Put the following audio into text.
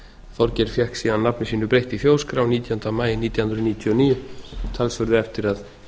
þorgeir fékk síðan nafni sínu breytt í þjóðskrá nítjánda maí nítján hundruð níutíu og níu talsverðu eftir að